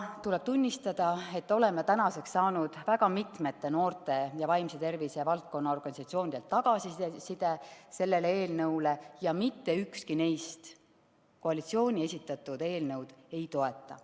Tuleb tunnistada, et oleme saanud väga mitmete noorte ja vaimse tervise valdkonna organisatsioonide tagasiside sellele eelnõule ja mitte ükski neist koalitsiooni esitatud eelnõu ei toeta.